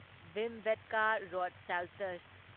Bhimbetka rock shelters